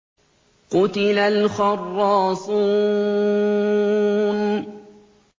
قُتِلَ الْخَرَّاصُونَ